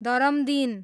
दरमदिन